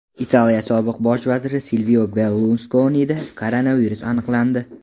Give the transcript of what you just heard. Italiya sobiq bosh vaziri Silvio Berluskonida koronavirus aniqlandi.